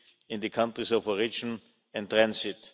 in the countries of origin and transit.